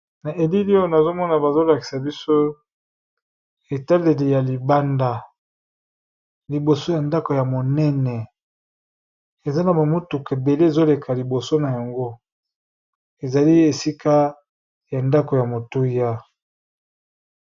Na elili oyo, nazo mona bazolakisa biso etaleli ya libanda. Liboso ya ndako ya monene, eza na bamutuka ebele ezoleka liboso na yango. Ezali esika ya ndako ya motuya.